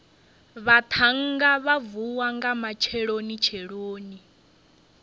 vhaṱhannga vha vuwa nga matshelonitsheloni